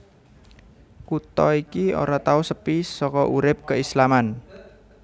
Kutha iki ora tau sepi saka urip keislaman